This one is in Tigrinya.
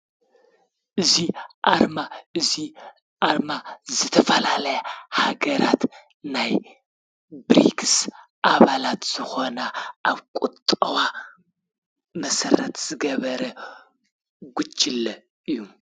እዚ ኣርማ እዚ ኣርማ ዝተፈላለያ ሃገራት ናይ ብሪክስ ኣባላት ዝኮና ኣብ ቁጠባ መሰረት ዝገበረ ጉጅለ እዩ።